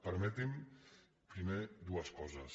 permeti’m primer dues coses